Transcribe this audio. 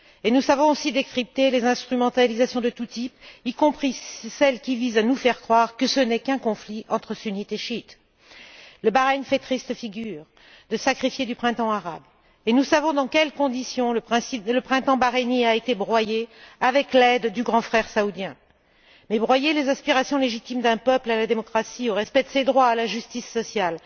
Nous savons aussi décrypter les instrumentalisations de tous types, y compris celles qui visent à nous faire croire que ce n'est qu'un conflit entre sunnites et chiites. Le Bahreïn fait triste figure de sacrifié du Printemps arabe. Nous savons dans quelles conditions le printemps bahreïnien a été broyé avec l'aide du grand frère saoudien. Mais broyer les aspirations légitimes d'un peuple à la démocratie, au respect de ses droits et à la justice sociale